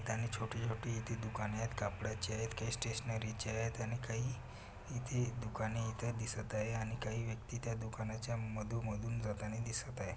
त्याने छोटी छोटी येथे दुकाने आहेत कापडची आहेत काही स्टेशनरीचे आहेत आणि काही इथे दुकाने इथे दिसत आहे आणि काही व्यक्ति त्या दुकानाच्या मधोमधून जाताना दिसत आहे.